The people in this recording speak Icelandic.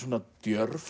djörf